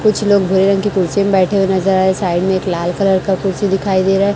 कुछ लोग भुरे रंग की कुर्सी में बैठे हुए नजर आए साइड में एक लाल कलर का कुर्सी दिखाई दे रहा--